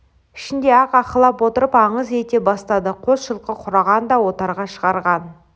ішінде-ақ аһылап отырып аңыз ете бастады қос жылқы құраған да отарға шығарған